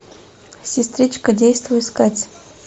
сестричка действуй искать